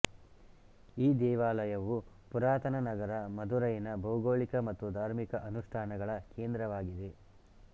ಈ ದೇವಾಲಯವು ಪುರಾತನ ನಗರ ಮಧುರೈನ ಭೌಗೋಳಿಕ ಮತ್ತು ಧಾರ್ಮಿಕ ಅನುಷ್ಠಾನಗಳ ಕೇಂದ್ರವಾಗಿದೆ